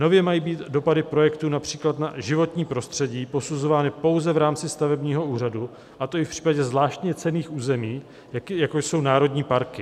Nově mají být dopady projektu, například na životní prostředí, posuzovány pouze v rámci stavebního úřadu, a to i v případě zvláště cenných území, jako jsou národní parky."